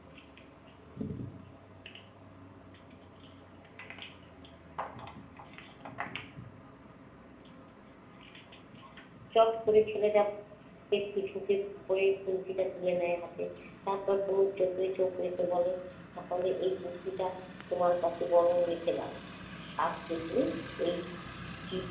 চট করে ছেলেটা একটু সুযোগ পেয়েই গুলতিটা তুলে নেয় হাতে। তারপর তনুর চোখে চোখ রেখে বলে, তাহলে এই গুলতিটা তোমার কাছে বরং রেখে দাও। সাপ দেখলেই এই